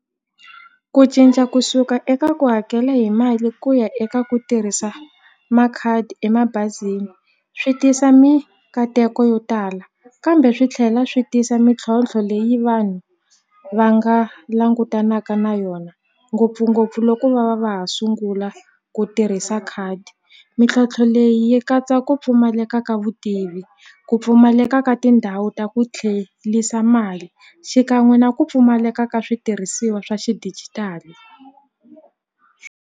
Ku cinca kusuka eka ku hakela hi mali ku ya eka ku tirhisa makhadi emabazini swi tisa mikateko yo tala kambe swi tlhela swi tisa mintlhontlho leyi vanhu va nga langutanaka na yona ngopfungopfu loko va va va ha sungula ku tirhisa khadi mintlhontlho leyi yi katsa ku pfumaleka ka vutivi ku pfumaleka ka tindhawu ta ku tlhelisa mali xikan'we na ku pfumaleka ka switirhisiwa swa xidijitali.